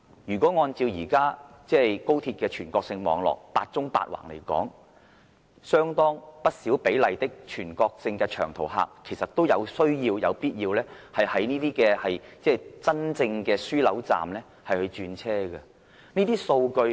如果按照現時高鐵"八縱八橫"的全國性網絡來說，相當不少比例的全國性長途客其實都有需要、有必要在真正的樞紐站轉車。